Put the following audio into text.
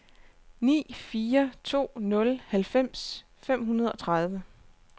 ni fire to nul halvfems fem hundrede og tredive